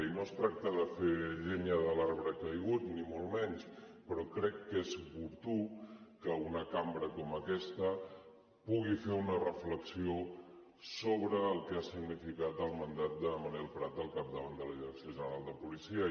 i no es tracta de fer llenya de l’arbre caigut ni molt menys però crec que és oportú que una cambra com aquesta pugui fer una reflexió sobre el que ha significat el mandat de manel prat al capdavant de la direcció general de policia